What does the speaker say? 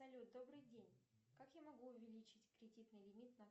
салют добрый день как я могу увеличить кредитный лимит на